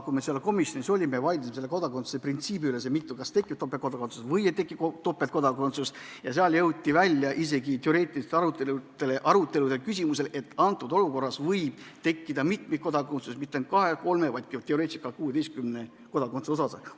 Kui me komisjonis olime ja kodakondsuse printsiibi üle vaidlesime, et kas tekib topeltkodakondsus või ei teki topeltkodakondsust, jõudsime välja isegi selleni, et teoreetiliselt võib antud olukorras tekkida mitmikkodakondsus – mitte ainult kahe, kolme, vaid teoreetiliselt ka 16 kodakondsuse osas.